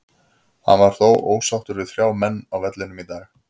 Hann var þó ósáttur með þrjá menn á vellinum í dag.